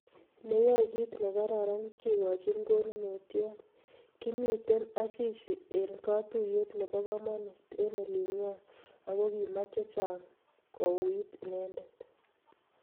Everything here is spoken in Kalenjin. Neyaei kit nekararan kekochini konunotiot, Kimitei Asisi eng katuiyet nebo komonut eng olingwai ako kimach chechang kouit inendet